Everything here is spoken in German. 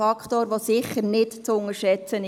Dieser Faktor ist sicher nicht zu unterschätzen.